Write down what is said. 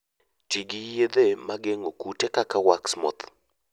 Ti gi yedhe mag geng'o kute kaka wax moth.